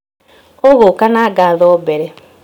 ũgũka na ngatho mbere